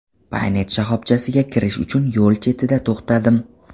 Paynet shoxobchasiga kirish uchun yo‘l chetida to‘xtadim.